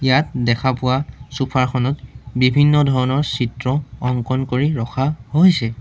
ইয়াত দেখা পোৱা চোফাৰ খনত বিভিন্ন ধৰণৰ চিত্ৰ অংকন কৰি ৰখা হৈছে।